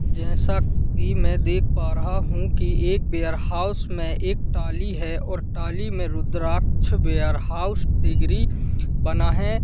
जैसा कि मैं देख पा रहा हूं कि एक बेयरहाउस में एक टाली है और टाली में रुद्राक्ष वेयरहाउस डिग्री बना है।